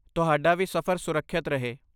ਤੁਹਾਡਾ ਵੀ ਸਫ਼ਰ ਸੁਰੱਖਿਅਤ ਰਹੇ।